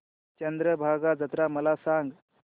चंद्रभागा जत्रा मला सांग